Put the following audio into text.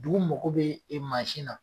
Dugu mako be e na